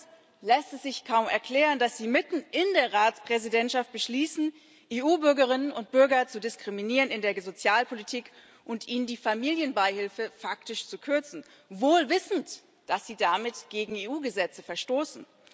Anders lässt es sich kaum erklären, dass Sie mitten in der Ratspräsidentschaft beschließen, EU Bürgerinnen und Bürger in der Sozialpolitik zu diskriminieren und ihnen die Familienbeihilfe faktisch zu kürzen wohl wissend, dass Sie damit gegen EU Gesetze verstoßen.